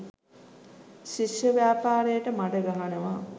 ශිෂ්‍ය ව්‍යපාරයට මඩ ගහනවා.